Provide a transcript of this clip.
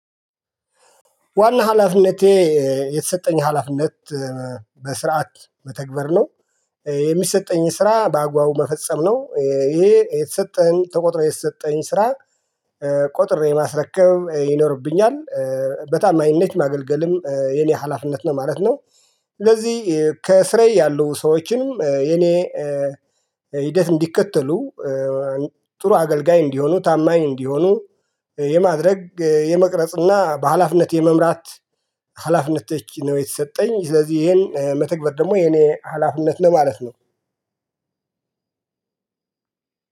ዋና ሀላፊነቴ የተሰጠኝ ሀላፊነት በስርዓት መተግበር ነው። የሚሰጠኝን ስራ በአግባቡ መፈጸም ነው ይሄ የተሰጠህን ተቆጥሮ የተሰጠኝን ስራ ቆጥሬ ማስረከብ ይኖርብኛል። በታማኝነት ማገልገልም የኔ ሀላፍነት ነው ማለት ነው። ስለዚህ ከስራዬ ያሉ ሰዎችንም የኔ ሂደት እንዲከተሉ ጥሩ አገልጋይ እንዲሆኑ ታማኝ እንዲሆኑ የማድረግ የመቅረጽና በሃላፍነት የመምራት ሀላፊነቶች ነው። የተሰጠኝ ስለዚህ ይሄን መተግበር ደግሞ የኔ ሀላፍነት ነው ማለት ነው።